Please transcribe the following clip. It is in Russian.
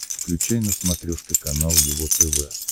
включай на смотрешке канал его тв